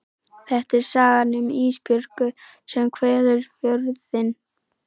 Þetta er sagan um Ísbjörgu sem kveður Fjörðinn.